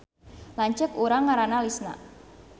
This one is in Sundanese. Lanceuk urang ngaranna Lisna